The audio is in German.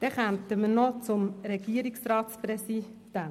Nun kommen wir noch zum Regierungsratspräsidenten.